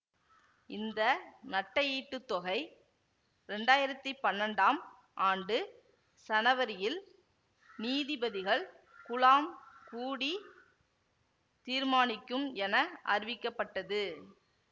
இந்த நட்டஈட்டுத் தொகை இரண்டாயிரத்தி பன்னெண்டாம் ஆண்டு சனவரியில் நீதிபதிகள் குழாம் கூடித் தீர்மானிக்கும் என அறிவிக்கப்பட்டது